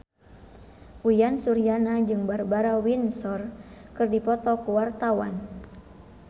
Uyan Suryana jeung Barbara Windsor keur dipoto ku wartawan